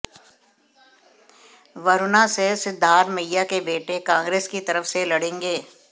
वरुणा से सिद्धारमैया के बेटे कांग्रेस की तरफ से लड़ेंगे